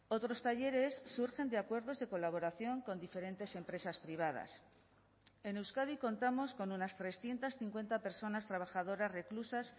otros talleres surgen de acuerdos de colaboración con diferentes empresas privadas en euskadi contamos con unas trescientos cincuenta personas trabajadoras reclusas